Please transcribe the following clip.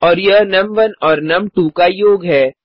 और यह नुम1 और नुम2 का योग है